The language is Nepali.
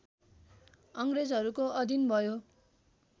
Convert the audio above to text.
अङ्ग्रेजहरूको अधीन भयो